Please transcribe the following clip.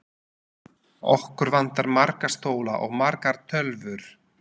Okkur vantar marga stóla og margar tölvur.